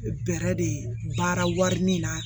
Bɛ bɛrɛ de baara wari min na